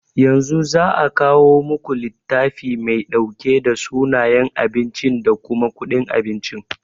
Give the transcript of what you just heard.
Yanzu za'a kawo muku littafi mai ɗauke da sunayen abinci da kuma kuɗin abincin.